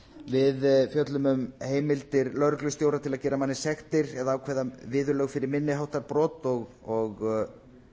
við fjöllum um heimildir lögreglustjóra til að gera manni sektir eða ákveða viðurlög fyrir minni háttar brot og